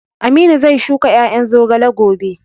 Aminu zai shuka ƴaƴan zogale gobe